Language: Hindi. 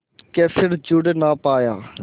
के फिर जुड़ ना पाया